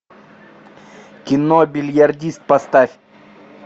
кино бильярдист поставь